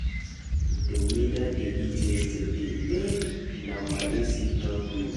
The weather dey hit yesterday eh, na my AC help me.